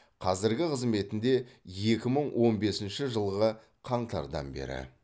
қазіргі қызметінде екі мың он бесінші жылғы қаңтардан бері